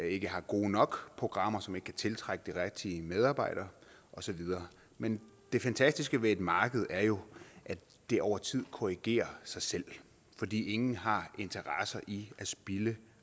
ikke har gode nok programmer så man ikke kan tiltrække de rigtige medarbejdere og så videre men det fantastiske ved et marked er jo at det over tid korrigerer sig selv fordi ingen har interesser i at spilde